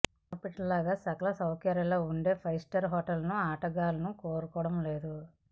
మునిపటిలా సకల సౌకర్యాలు ఉండే ఫైవ్ స్టార్ హోటళ్లను ఆటగాళ్లను కోరుకోవడం లేదు